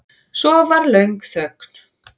Svo var löng þögn.